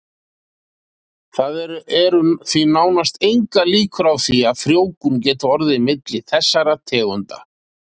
Það eru því nánast engar líkur á því að frjóvgun geti orðið milli þessara tegunda.